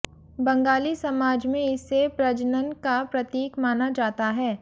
बंगाली समाज में इसे प्रजनन का प्रतीक माना जाता है